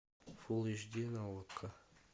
фул эйч ди на окко